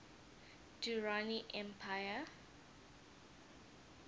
durrani empire